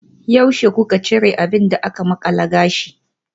Yaushe kuka cire abin da aka makala gashi?